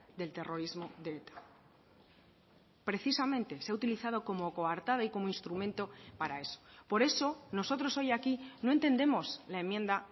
del terrorismo de eta precisamente se ha utilizado como coartada y como instrumento para eso por eso nosotros hoy aquí no entendemos la enmienda